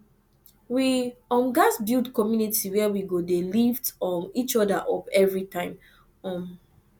we um gats build community where we go dey lift um each other up every time um